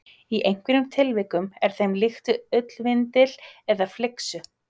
Í einhverjum tilvikum er þeim líkt við ullarvindil eða flyksu.